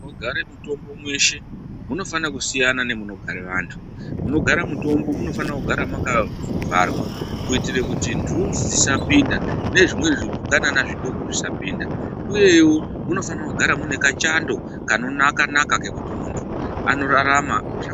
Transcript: Munogare mitombo mweshe munofane kusiyana nemunogare vantu. Munogare mitombo munofane kugare mwakavharwa kuitire kuti nhunzi dzisapinda nezvimweni zvipukanana zvitoko zvisapinda, uyewo munofana kugara muinekachando kanonaka-naka kekuti muntu anorarama zvakanaka.